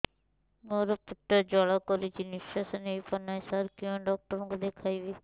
ମୋର ପେଟ ଜ୍ୱାଳା କରୁଛି ନିଶ୍ୱାସ ନେଇ ପାରୁନାହିଁ ସାର କେଉଁ ଡକ୍ଟର କୁ ଦେଖାଇବି